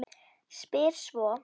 Spyr svo